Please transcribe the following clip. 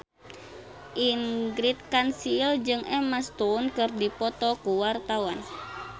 Ingrid Kansil jeung Emma Stone keur dipoto ku wartawan